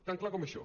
tan clar com això